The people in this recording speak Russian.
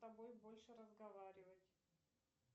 с тобой больше разговаривать